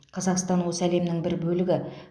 қазақстан осы әлемнің бір бөлігі